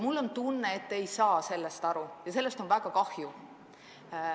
Mul on tunne, et te ei saa sellest aru, ja sellest on väga kahju.